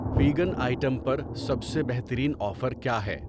Vegan item پر سب سے بہترین آفر کیا ہے۔